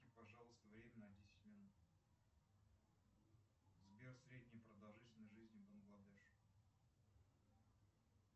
пожалуйста время на десять минут сбер средняя продолжительность жизни в бангладеш